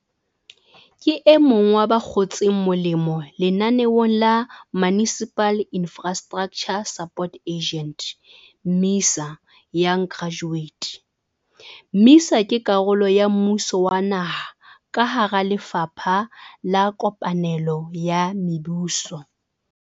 Ke emong wa ba kgotseng molemo lenaneong la Municipal Infrastructure Support Agent MISA Young Graduate. MISA ke karolo ya mmuso wa naha ka hara Lefapha la Kopanelo ya Mebuso.